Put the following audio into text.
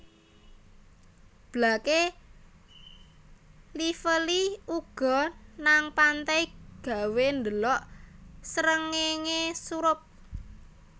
Blake Lively lunga nang pantai gawe ndelok srengenge surup